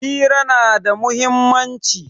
Hira na da muhimmanci.